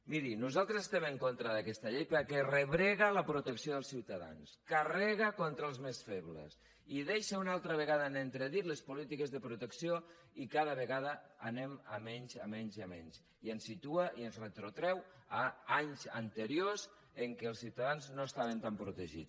miri nosaltres estem en contra d’aquesta llei perquè rebrega la protecció dels ciutadans carrega contra els més febles i deixa una altra vegada en entredit les polítiques de protecció i cada vegada anem a menys a menys i a menys i ens situa i ens retrotreu a anys anteriors en què els ciutadans no estaven tan protegits